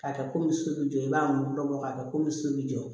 K'a kɛ komi so be jɔ i b'a mugu bɔ k'a kɛ komi so be jɔ